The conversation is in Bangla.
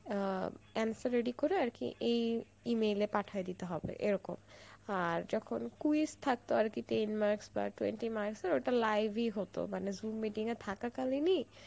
আ answer ready করে আর কি এই E-mail এ পাঠাই দিতে হবে এরকম আর যখন quiz থাকত আরকি তিন marks বা twenty marks এর, ওটা live ই হত মানে zoom মিটিং এ থাকা কালীন ই